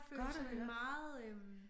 Godt at høre